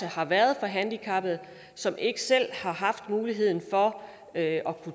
har været for handicappede som ikke selv har haft mulighed for at